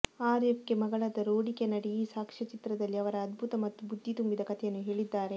RFK ಮಗಳಾದ Rory Kennedy ಈ ಸಾಕ್ಷ್ಯಚಿತ್ರದಲ್ಲಿ ಅವರ ಅದ್ಭುತ ಮತ್ತು ಬುದ್ಧಿ ತುಂಬಿದ ಕಥೆಯನ್ನು ಹೇಳಿದ್ದಾರೆ